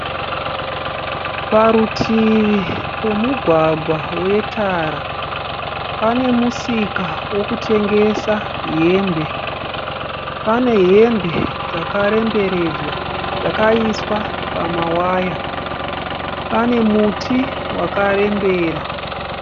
Parutivi pomugwagwa wetara pane musika wokutengesa hembe. Pane hembe dzakarembedzwa dzakaiswa pamaya. Pane muti wakarembera.